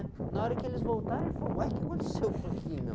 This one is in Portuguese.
Na hora que eles voltaram, ele falou, uai, o que aconteceu aqui, meu?